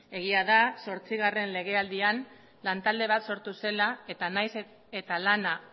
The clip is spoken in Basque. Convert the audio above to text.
egia da zortzigarren legealdian lantalde bat sortu zela eta naiz eta lana